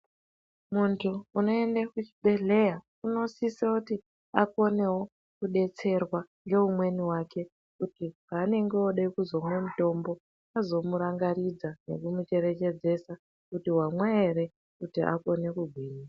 Muntu unoende kuchibhedhleya unosisakuti adetserwe ngeumweni wake kuti paanenge ode kuzomwa mutombo azomurangaridza nekumucherechedzesa kuti wamwa ere kuti akone kugwinya.